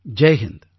Jai Hind